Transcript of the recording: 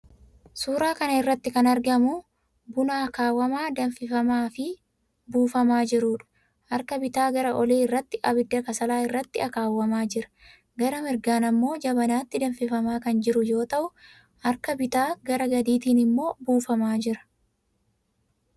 Suuraa kana irratti kan argamu buna akaawamaa, danfifamaafi buufamaa jiruudha. Harka bitaa gara olii irratti abidda kasalaa irratti akaawamaa jira. Gara mirgaan immoo jabanaatti danfimamaa kan jiru yoo ta'u, harka bitaa gara gadiitiin immoo buufamaa jira.